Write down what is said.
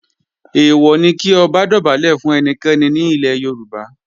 Èèwọ̀ ni kí Ọba dọ̀bálẹ̀ fún ẹnikẹ́ni ní ilẹ̀ Yorùbá